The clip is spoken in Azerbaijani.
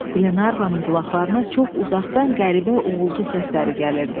Qlenarvanın qulaqlarına çox uzaqdan qəribə uğultu səsləri gəlirdi.